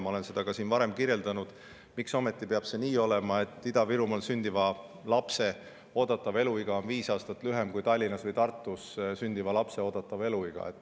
Ma olen seda ka varem, miks ometi peab olema nii, et Ida-Virumaal sündiva lapse oodatav eluiga on viis aastat lühem kui Tallinnas või Tartus sündiva lapse oodatav eluiga.